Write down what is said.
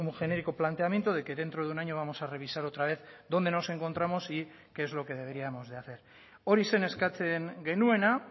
genérico planteamiento de que dentro de un año vamos a revisar otra vez dónde nos encontramos y qué es lo que deberíamos de hacer hori zen eskatzen genuena